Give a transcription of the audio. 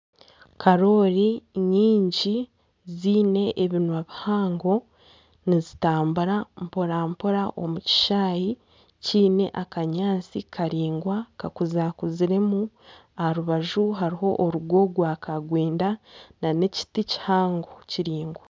Karooli nyingi ziine ebinwa bihango nizitambura mpora mpora omu kishaayi kiine akanyaatsi karaingwa kakurakuziremu. Aha rubaju hariho orugo rwakarwenda n'ekiti kihango kiraingwa.